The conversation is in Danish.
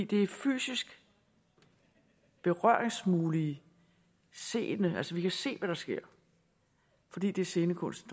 det er fysisk berøringsmuligt seende altså vi kan se hvad der sker fordi det er scenekunst